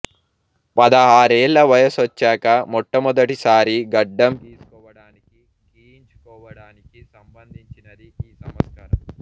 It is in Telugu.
పదహారేళ్ళ వయసొచ్చాక మొట్టమొదటిసారి గడ్డం గీసుకోవడానికి గీయించుకోవడానికి సంబంధించినది ఈ సంస్కారం